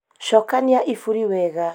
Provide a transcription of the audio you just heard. cokania iburi wega